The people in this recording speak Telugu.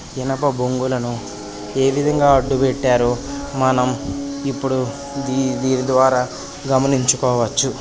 ఇనుప బొంగులను ఏ విధంగా అడ్డు పెట్టారో మనం ఇప్పుడు దీని ద్వారా గమనించుకోవచ్చు.